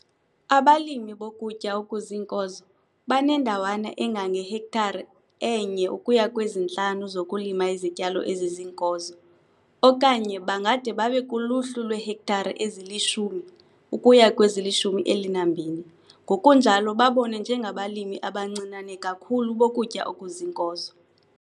Abalimi bokutya okuziinkozo banendawana engangehektare e-1 ukuya kwezi-5 zokulima izityalo eziziinkozo, okanye bangade babe kuluhlu lweehektare ezili-10 ukuya kweziyi-20 ngokunjalo babonwe njengabalimi abancinane kakhulu bokutya okuziinkozo.